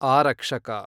ಆರಕ್ಷಕ